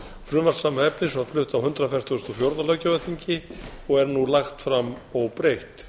frumvarp sama efnis var flutt á hundrað fertugasta og fjórða löggjafarþingi og er nú lagt fram óbreytt